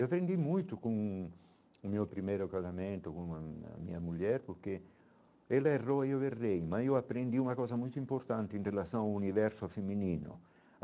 Eu aprendi muito com o meu primeiro casamento, com a minha mulher, porque ela errou e eu errei, mas eu aprendi uma coisa muito importante em relação ao universo feminino.